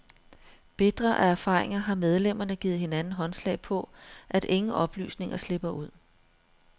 Bitre af erfaringer har medlemmerne givet hinanden håndslag på, at ingen oplysninger slipper ud.